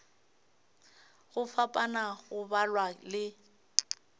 go fapana go balwa le